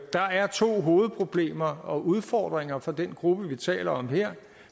der er to hovedproblemer og udfordringer for den gruppe vi taler om her